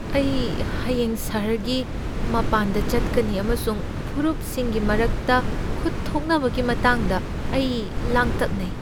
ꯑꯩ ꯍꯌꯦꯡ ꯁꯍꯔꯒꯤ ꯃꯄꯥꯟꯗ ꯆꯠꯀꯅꯤ ꯑꯃꯁꯨꯡ ꯐꯨꯔꯨꯞꯁꯤꯡꯒꯤ ꯃꯔꯛꯇ ꯈꯨꯠ ꯊꯣꯛꯅꯕꯒꯤ ꯃꯇꯥꯡꯗ ꯑꯩ ꯂꯥꯡꯇꯛꯅꯩ ꯫